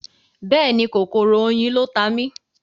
Bẹ́ẹ̀ni, kòkòrò oyin ló ta mí.